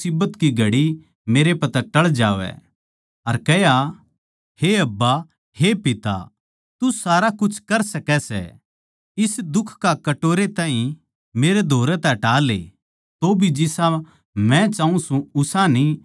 अर कह्या हे अब्बा हे पिता तू सारा कुछ करै सकै सै इस दुख का कटोरे ताहीं मेरै धोरै तै हटा ले तौभी जिसा मै चाऊँ सूं उसा न्ही पर जो तू चाहवै सै वोये हो